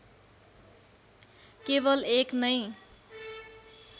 केवल एक नै